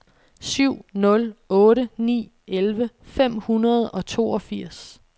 syv nul otte ni elleve fem hundrede og toogfirs